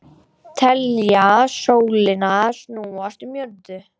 Telja sólina snúast um jörðu